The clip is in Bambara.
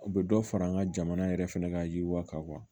U bɛ dɔ fara an ka jamana yɛrɛ fɛnɛ ka yiriwa kan wa